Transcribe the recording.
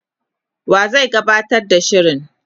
wa zai gabatar da shirin,?